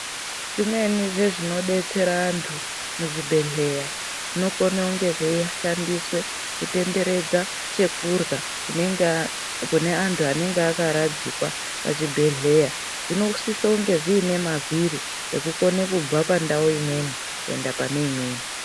Zvimweni zvezvinodetsera antu muzvibhedhleya zvinokone kunge zveishandiswe kutenderedza chekurya kune antu anenge akaradzikwa pachibhedhleya. Zvinosise kunge zvine mavhiri ekukone kubva pandau imweni kuenda pane imweni.